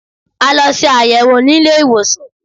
A lọ ṣe àyẹ̀wò ní ilé-ìwòsàn